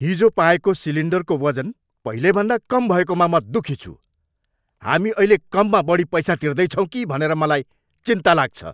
हिजो पाएको सिलिन्डरको वजन पहिलेभन्दा कम भएकोमा म दुखी छु। हामी अहिले कममा बढी पैसा तिर्दैछौँ कि भनेर मलाई चिन्ता लाग्छ।